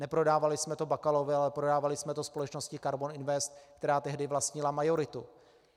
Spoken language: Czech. Neprodávali jsme to Bakalovi, ale prodávali jsme to společnosti Karbon Invest, která tehdy vlastnila majoritu.